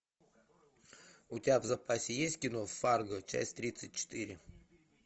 у тебя в запасе есть кино фарго часть тридцать четыре